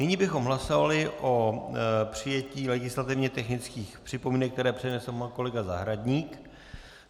Nyní bychom hlasovali o přijetí legislativně technických připomínek, které přednesl pan kolega Zahradník.